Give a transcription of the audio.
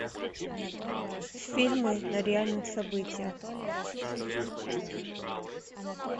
фильмы на реальных событиях